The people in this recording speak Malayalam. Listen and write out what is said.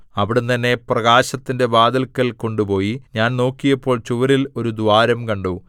അവിടുന്ന് എന്നെ പ്രാകാരത്തിന്റെ വാതില്ക്കൽ കൊണ്ടുപോയി ഞാൻ നോക്കിയപ്പോൾ ചുവരിൽ ഒരു ദ്വാരം കണ്ടു